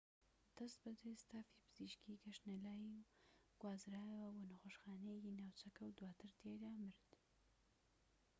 دەستبەجێ ستافی پزیشکیی گەشتنە لای و گوازرایەوە بۆ نەخۆشخانەیەکی ناوچەکە و دواتر تیایدا مرد